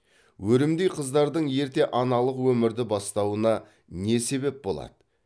өрімдей қыздардың ерте аналық өмірді бастауына не себеп болады